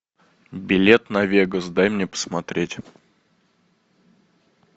билет на вегас дай мне посмотреть